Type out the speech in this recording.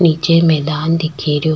निचे में मैदान दिखेरियो।